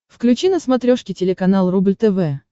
включи на смотрешке телеканал рубль тв